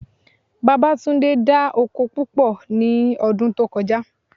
Babátúndé dá oko púpọ̀ ní ọdún tó kọjá